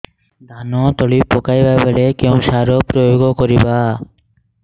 ଧାନ ତଳି ପକାଇବା ବେଳେ କେଉଁ ସାର ପ୍ରୟୋଗ କରିବା